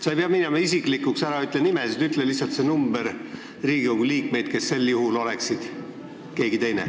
Sa ei pea minema isiklikuks – ära ütle nimesid, ütle lihtsalt see arv, kui paljude Riigikogu liikmete asemel oleks sel juhul keegi teine.